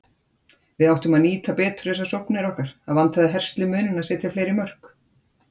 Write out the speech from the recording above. Við áttum að nýta betur þessar sóknir okkar, það vantaði herslumuninn að setja fleiri mörk.